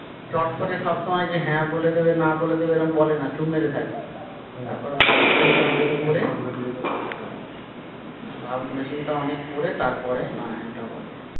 চট করে সবসময় যে হ্যা বলে দেবে না বলেদেবে বলেনা চুপ মেরে থাকে হম তারপর ভাবনা ভাবনা চিন্তা অনেক করে তারপরে না হ্যা টা বলে।